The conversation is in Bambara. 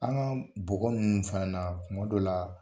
An ka bɔgɔ ninnu fana na kuma dɔ la.